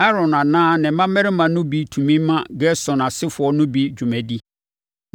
Aaron anaa ne mmammarima no bi tumi ma Gerson asefoɔ no bi dwuma di.